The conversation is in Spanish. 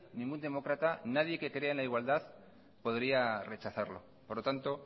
ningún demócrata nadie que crea en la igualdad podría rechazarlo por lo tanto